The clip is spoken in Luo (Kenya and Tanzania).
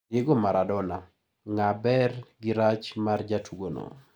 Diego Maradona: Ng`e ber gi rach mar jatugono.